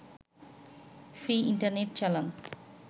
free internet চালান